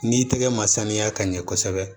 N'i tɛgɛ ma sanuya ka ɲɛ kosɛbɛ